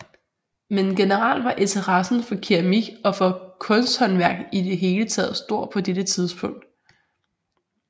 Men generelt var interessen for keramik og for kunsthåndværk i det hele taget stor på dette tidspunkt